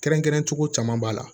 Kɛrɛnkɛrɛncogo caman b'a la